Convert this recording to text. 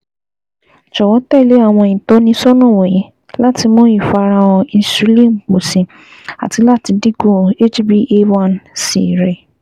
Jọwọ tẹle awọn itọnisọna wọnyi lati mu ifarahan insulin pọ si ati lati dinku HbA one c rẹ